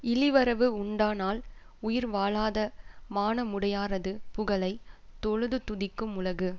இளிவரவு உண்டானால் உயிர் வாழாத மானமுடையாரது புகழை தொழுது துதிக்கும் உலகு